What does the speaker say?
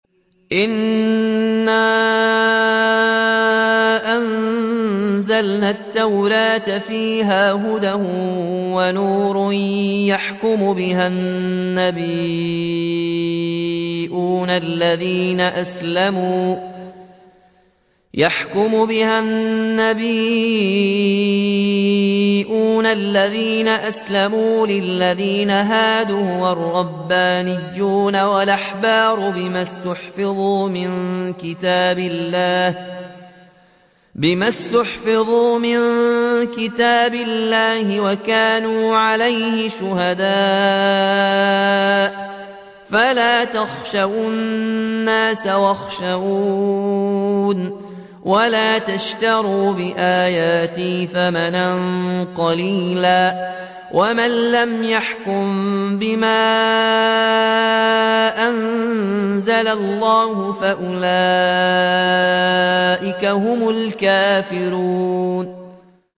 إِنَّا أَنزَلْنَا التَّوْرَاةَ فِيهَا هُدًى وَنُورٌ ۚ يَحْكُمُ بِهَا النَّبِيُّونَ الَّذِينَ أَسْلَمُوا لِلَّذِينَ هَادُوا وَالرَّبَّانِيُّونَ وَالْأَحْبَارُ بِمَا اسْتُحْفِظُوا مِن كِتَابِ اللَّهِ وَكَانُوا عَلَيْهِ شُهَدَاءَ ۚ فَلَا تَخْشَوُا النَّاسَ وَاخْشَوْنِ وَلَا تَشْتَرُوا بِآيَاتِي ثَمَنًا قَلِيلًا ۚ وَمَن لَّمْ يَحْكُم بِمَا أَنزَلَ اللَّهُ فَأُولَٰئِكَ هُمُ الْكَافِرُونَ